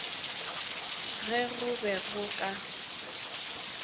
ge go be go ka